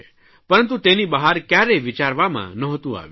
પરંતુ તેની બહાર કયારેય વિચારમાં ન્હોતું આવ્યું